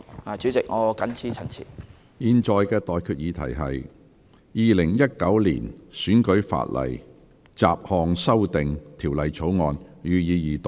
我現在向各位提出的待決議題是：《2019年選舉法例條例草案》，予以二讀。